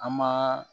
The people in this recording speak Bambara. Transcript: An ma